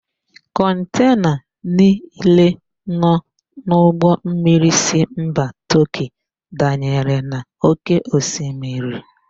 Kọntena niile nọ n'ụgbọmmiri si mba Tọọkị danyere na ókéosimiri.